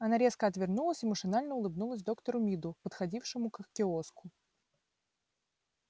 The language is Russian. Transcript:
она резко отвернулась и машинально улыбнулась доктору миду подходившему к киоску